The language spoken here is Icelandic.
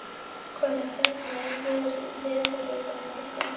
Konni, hvernig er veðrið á morgun?